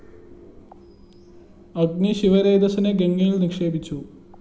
അഗ്നി ശിവരേതസ്സിനെ ഗംഗയില്‍ നിക്ഷേപിച്ചു